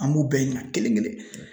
An b'u bɛɛ ɲinika kelen kelen .